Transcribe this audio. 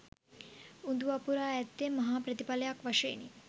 උඳු වපුරා ඇත්තේ මහා ප්‍රතිඵලයක් වශයෙනි.